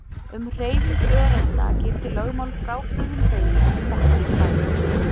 Um hreyfingu öreinda gilda lögmál frábrugðin þeim sem við þekkjum úr daglegu lífi.